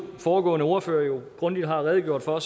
foregående ordførere jo grundigt har redegjort for